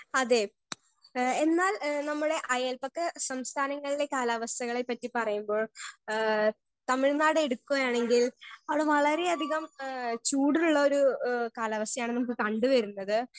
Speaker 1 അതെ ഏ എന്നാൽ ഏ നമ്മടെ അയൽപക്ക സംസഥാനങ്ങളിലെ കാലാവസ്ഥയെ പറ്റി പറയുമ്പോൾ ഏ തമിഴ്നാട് എടുക്കുവാണെങ്കിൽ അവിടെ വളരെ അധികം ഏ ചൂടുള്ളൊരു ഏ കാലാവസ്ഥയാണ് നമുക്ക് കണ്ട് വരുന്നത്.